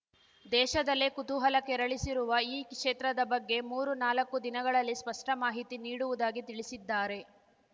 ದೇಶದಲ್ಲೇ ಕುತೂಹಲ ಕೆರಳಿಸಿರುವ ಈ ಕ್ಷೇತ್ರದ ಬಗ್ಗೆ ಮೂರು ನಾಲ್ಕು ದಿನಗಳಲ್ಲಿ ಸ್ಪಷ್ಟ ಮಾಹಿತಿ ನೀಡುವುದಾಗಿ ತಿಳಿಸಿದ್ದಾರೆ